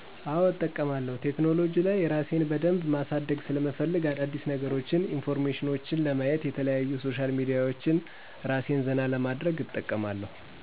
አዎ እጠቀማለሁ ቴክኖሉጂ ላይ እራሴን በደንብ ማሳደግ ሰለምፈልግ አዳዲስነገሮች ኢንፎርሜሽኔችን ለማየት የተለያዩ ሶሻል ሚዲያዎች እራሴን ዘና ለማድረግ እጠቀማለሁ።